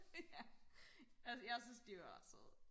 ja jeg jeg synes de var ret søde